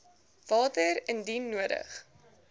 water indien nodig